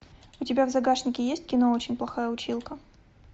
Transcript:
у тебя в загашнике есть кино очень плохая училка